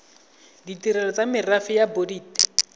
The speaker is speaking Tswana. ditirelo tsa merafe ya bodit